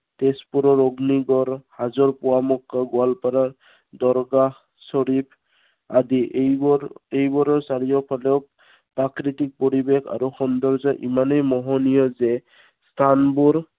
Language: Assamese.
তেজপুৰৰ অগ্নিগড়, হোজৰ পোৱামক্কা, গোৱালপাৰাৰ দৰগাহ শ্বৰিফ, আদি এইবোৰ, এইবোৰৰ চাৰিওফালে প্ৰাকৃতিক পৰিৱেশ আৰু সৌন্দৰ্য ইমানেই মোহনীয় যে, স্থানবোৰ